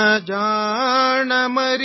सो जाओ सो जाओ बेबी